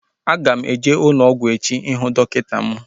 Aga m eje ụlọ ọgwụ echi ihu dọkịta m